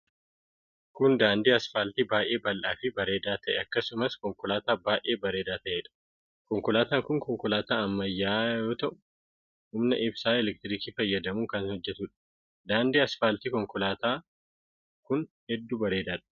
Kun, daandii asfaaltii baay'ee bal'aa fi bareedaa ta'e akkasumas konkolaataa baay'ee bareedaa ta'ee dha. Konkolaataan kun konkolaataa ammayyaa yoo ta'u humna ibsaa elektirikaa fayyadamuun kan hojjatuu dha. Daandiin asfaaltii konkolaataa kun hedduu bareedaa dha.